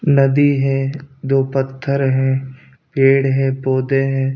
नदी है दो पत्थर हैं पेड़ हैं पौधे हैं।